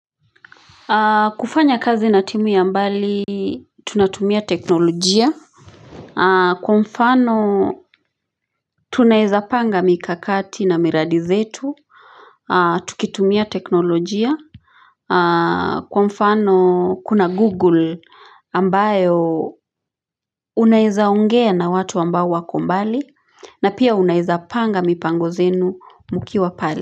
Kufanya kazi na timu ya mbali Tunatumia teknolojia Kwa mfano tunaeza panga mikakati na miradi zetu Tukitumia teknolojia Kwa mfano kuna google ambayo Unaeza ongea na watu ambao wako mbali na pia unaeza panga mipango zenu mkiwa pale.